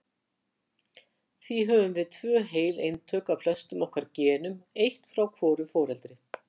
Því höfum við tvö heil eintök af flestum okkar genum- eitt frá hvoru foreldri.